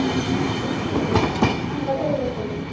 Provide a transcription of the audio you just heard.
ಹರಿಶ್ಚಂದ್ರ ಭಟ್ ಆ ಹಾ ಗೊತ್ತಾಯ್ತು.